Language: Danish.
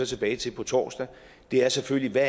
tilbage til på torsdag er selvfølgelig hvad